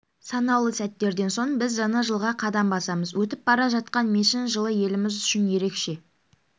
санаулы сәттерден соң біз жаңа жылға қадам басамыз өтіп бара жатқан мешін жылы еліміз үшін ерекше